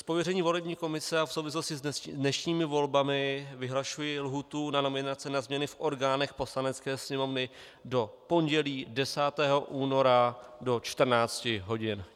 Z pověření volební komise a v souvislosti s dnešními volbami vyhlašuji lhůtu na nominaci na změny v orgánech Poslanecké sněmovny do pondělí 10. února do 14 hodin.